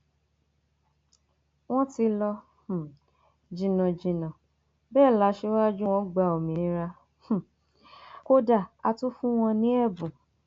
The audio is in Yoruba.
wọn ti lọ um jìnnàjìnnà bẹẹ la ṣíwájú wọn gba òmìnira um kódà a tún fún wọn ní ẹbùn